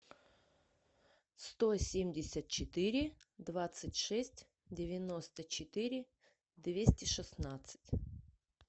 сто семьдесят четыре двадцать шесть девяносто четыре двести шестнадцать